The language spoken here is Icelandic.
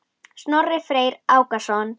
Snorri Freyr Ákason.